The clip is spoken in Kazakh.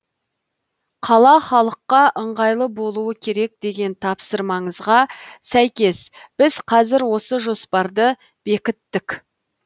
қала халыққа ыңғайлы болуы керек деген тапсырмаңызға сәйкес біз қазір осы жоспарды бекіттік